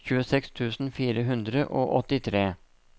tjueseks tusen fire hundre og åttitre